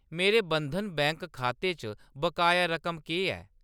मेरे बंधन बैंक खाते च बकाया रकम केह् ऐ ?